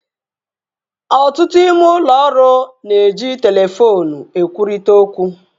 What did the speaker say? Ọtụtụ ime ụlọ ọrụ na-eji telefoonu ekwurịta okwu